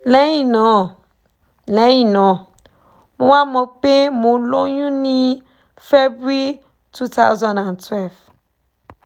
lẹ́yìn náà lẹ́yìn náà mo wá mọ̀ pé mo lóyún ní february 2012